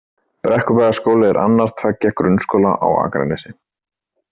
Brekkubæjarskóli er annar tveggja grunnskóla á Akranesi.